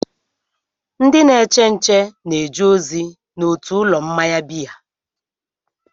Ndị na-eche nche na-eje ozi n'otu ụlọ mmanya biya.